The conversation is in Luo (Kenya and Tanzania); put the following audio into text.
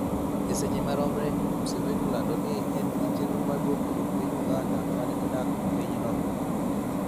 E seche maromre, Museveni olando ni en gi chenro mar duoko jo piny Uganda mane odak e pinyno